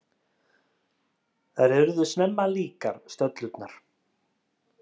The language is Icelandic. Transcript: Þær urðu snemma líkar, stöllurnar.